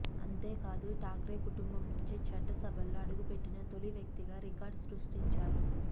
అంతేకాదు ఠాక్రే కుటుంబం నుంచి చట్టసభలో అడుగుపెట్టిన తొలి వ్యక్తిగా రికార్డు సృష్టించారు